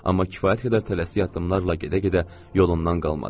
Amma kifayət qədər tələsik addımlarla gedə-gedə yolundan qalmadı.